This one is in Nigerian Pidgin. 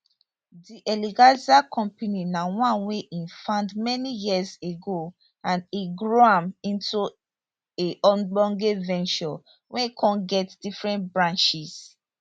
di eleganza company na one wey e found many years ago and e grow am into a ogbonge venture wey kon get different branches